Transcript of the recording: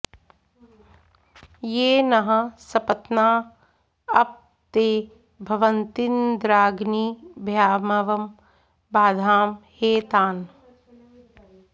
ये नः॑ स॒पत्ना॒ अप॒ ते भ॑वन्त्विन्द्रा॒ग्निभ्या॒मव॑ बाधाम हे॒ तान्